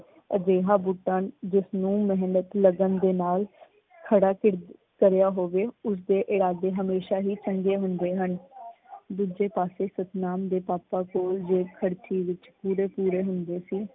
ਅਜਿਹਾ ਬੂਟਾ ਜਿਸਨੂੰ ਮਿਹਨਤ ਲਗਨ ਦੇ ਨਾਲ ਖੜਾ ਕਰਿਆ ਹੋਵੇ ਉਸਦੇ ਇਰਾਦੇ ਹਮੇਸ਼ਾ ਹੀ ਚੰਗੇ ਹੁੰਦੇ ਹਨ। ਦੂਜੇ ਪਾਸੇ ਸਤਨਾਮ ਦੇ ਪਾਪਾ ਕੋਲ ਜੇਬ ਖਰਚੀ ਵਿੱਚ ਪੂਰੇ ਪੂਰੇ ਹੁੰਦੇ ਸੀ।